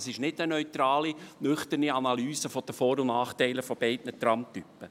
Das ist keine neutrale, nüchterne Analyse der Vor- und Nachteile beider Tramtypen.